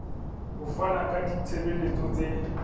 ho fana ka ditshebeletso tse